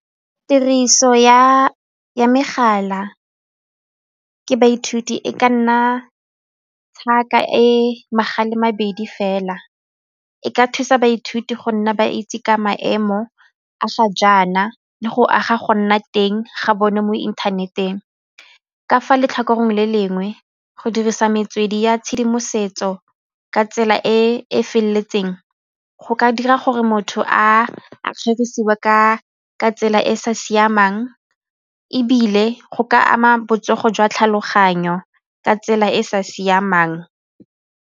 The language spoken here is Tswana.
Tiriso ya megala ke baithuti e ka nna e magala mabedi fela e ka thusa baithuti go nna ba itse ka maemo a sa jaana le go aga go nna teng ga bone mo inthaneteng. Ka fa letlhakoreng le lengwe go dirisa metswedi ya tshedimosetso ka tsela e feleletseng go ka dira gore motho a kgerisiwe ka ka tsela e e sa siamang ebile go ka ama botsogo jwa tlhaloganyo ka tsela e e sa siamang.